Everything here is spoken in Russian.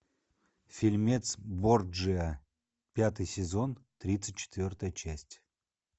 фильмец борджиа пятый сезон тридцать четвертая часть